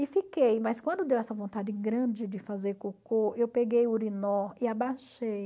E fiquei, mas quando deu essa vontade grande de fazer cocô, eu peguei o urinó e abaixei.